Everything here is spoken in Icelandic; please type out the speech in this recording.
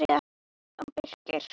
Björn og Birkir.